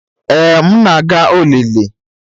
Ee, m na-aga olili.